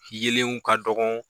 Yeelenw ka dɔgɔ